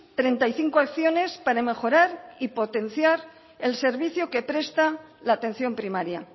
treinta y cinco acciones para mejorar y potenciar el servicio que presta la atención primaria